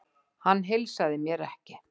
Hann heilsaði mér ekki.